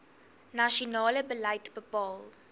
nasionale beleid bepaal